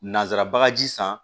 Nansara bagaji san